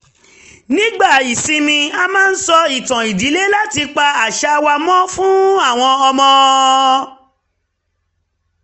nígbà ìsinmi a máa ń sọ ìtàn ìdílé láti pa àṣà wa mọ́ fún àwọn ọmọ